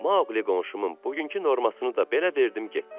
Maoqlu qonşumun bugünkü normasını da belə verdim, getdi.